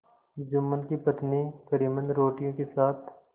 जुम्मन की पत्नी करीमन रोटियों के साथ